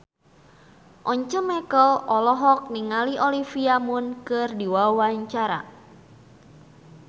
Once Mekel olohok ningali Olivia Munn keur diwawancara